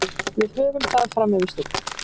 Við höfum það fram yfir Stjörnuna.